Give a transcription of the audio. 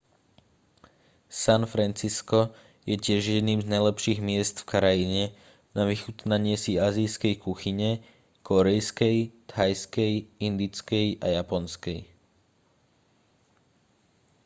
san francisco je tiež jedným z najlepších miest v krajine na vychutnanie si ázijskej kuchyne kórejskej thajskej indickej a japonskej